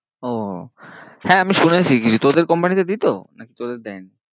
ও হ্যাঁ আমি শুনেছি কিছু, তোদের company তে দিতো নাকি তোদের দায়ে নি?